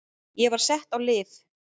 Ég var sett á lyf.